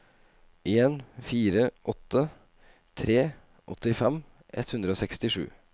en fire åtte tre åttifem ett hundre og sekstisju